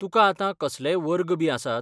तुका आतां कसलेय वर्ग बी आसात?